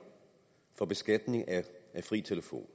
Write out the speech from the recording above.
for beskatningen af fri telefon